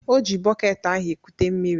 O ji bọket ahụ ekute mmiri.